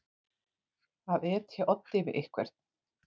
Að etja oddi við einhvern